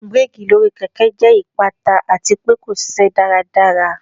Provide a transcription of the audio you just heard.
Bireki lori keke jẹ ipata ati pe ko ṣiṣẹ daradara.